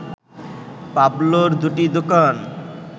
পাবলোর দুটি দোকান